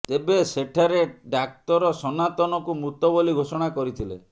ତେବେ ସେଠାରେ ଡାକ୍ତର ସନାତନକୁ ମୃତ ବୋଲି ଘୋଷଣା କରିଥିଲେ